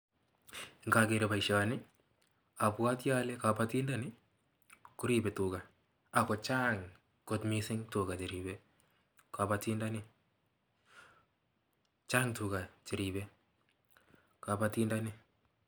Ngakeer boisioni abwati ale kabatindani koripe tuga ako chang kot mising tuga cheripei kabatindani , chang tuga che ripei kabatindani.